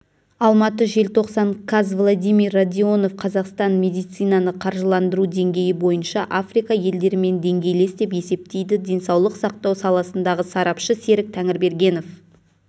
алматы желтоқсан каз владимир радионов қазақстан медицинаны қаржыландыру деңгейі бойынша африка елдерімен деңгейлес деп есептейді денсаулық сақтау саласындағы сарапшы серік тәңірбергенов